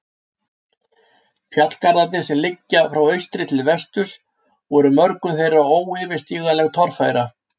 Fjallgarðarnir, sem liggja frá austri til vesturs, voru mörgum þeirra óyfirstíganleg torfæra.